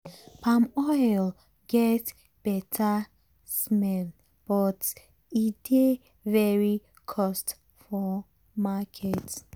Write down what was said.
palm oil get better smell but e dey very cost for market.